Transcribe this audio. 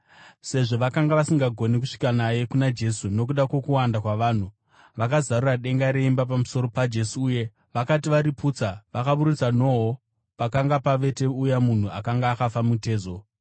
Sezvo vakanga vasingagoni kusvika naye kuna Jesu nokuda kwokuwanda kwavanhu, vakazarura denga reimba pamusoro paJesu uye, vakati variputsa, vakaburutsa nhoo pakanga pavete uya munhu akanga akafa mutezo.